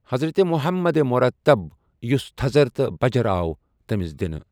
حضرتِ محمدؐ مرتب یُس تھزر تہٕ بَجر آو تٔمِس دِنہٕ۔